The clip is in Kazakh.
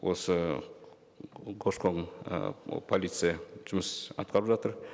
осы көші қон і полиция жұмыс атқарып жатыр